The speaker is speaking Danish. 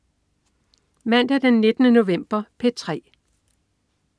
Mandag den 19. november - P3: